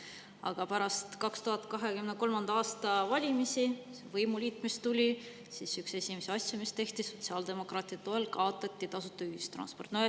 Aga pärast 2023. aasta valimisi tuli võimuliit ja üks esimesi asju, mis tehti, oli see, et sotsiaaldemokraatide toel kaotati tasuta ühistransport.